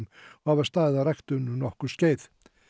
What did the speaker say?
og hafa staðið að ræktun um nokkurt skeið